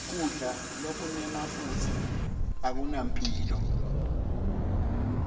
kudla lokunemafutsa akunamphilo